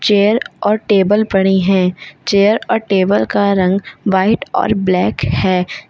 Chair और table पड़ी हैं चेयर और टेबल का रंग व्हाइट और ब्लैक है।